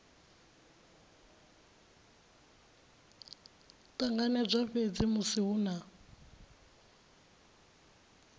ṱanganedzwa fhedzi musi hu na